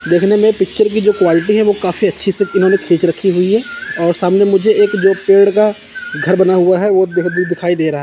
देखने में पिक्चर की जो क्वालिटी है वो काफी अच्छी से इन्होंने ने खींच रखी हुई है और सामने मुझे एक जो पेड़ का घर बना हुआ है वो दिखाई दे रहा --